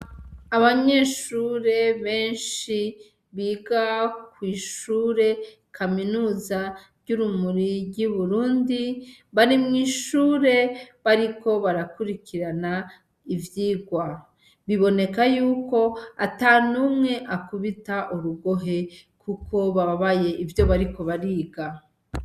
Abanyeshure benshi biga kw'ishure kaminuza ry'uburundi bari mwishure bariko barakurikirana ivyirwa, biboneka yuko atanumwe akubita urugohe kuko bababaye ivyo bariko bariga.